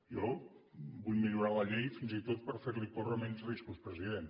jo vull millorar la llei fins i tot per fer li córrer menys riscos president